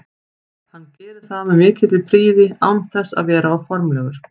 Hann gerir það með mikilli prýði án þess að vera of formlegur.